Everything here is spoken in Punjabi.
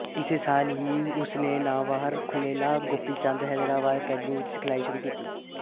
ਇਸੇ ਸਾਲ ਹੀ ਉਸ ਨੇ ਨਾਮਵਰ ਪੁਲੇਲਾ ਗੋਪੀਚੰਦ ਹੈਦਰਾਬਾਦ ਅਕੈਡਮੀ ਵਿੱਚ ਸਿਖਲਾਈ ਸ਼ੁਰੂ ਕੀਤੀ